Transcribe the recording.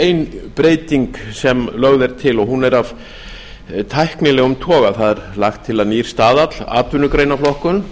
ein breyting sem lögð er til og hún er af tæknilegum toga það er lagt til að nýr staðall atvinnugreinaflokkun